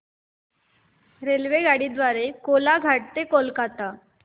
रेल्वेगाडी द्वारे कोलाघाट ते कोलकता